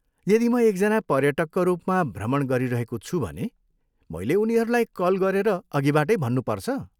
यदि म एकजना पर्यटकका रूपमा भ्रमण गरिरहेको छु भने मैले उनीहरूलाई कल गरेर अघिबाटै भन्नुपर्छ?